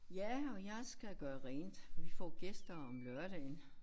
Ja og jeg skal gøre rent vi får gæster om lørdagen